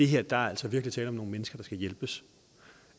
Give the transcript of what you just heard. her er der altså virkelig tale om nogle mennesker der skal hjælpes